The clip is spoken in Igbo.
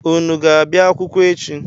Unu ga-abịa akwụkwọ echi?